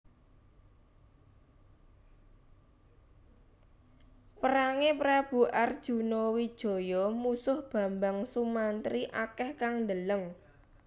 Perange Prabu Arjuna Wijaya musuh Bambang Sumantri akeh kang ndeleng